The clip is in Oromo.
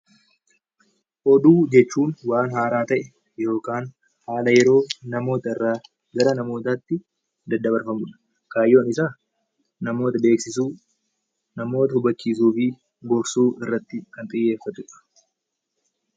Oduu jechuun waan haaraa ta'e yookaan haala yeroo namoota irraa gara namootaa tti daddabarfamu dha. Kaayyoon isaa namoota beeksisuu, namoota hubachiisuu fi gorsuu irratti kan xiyyeeffatu dha.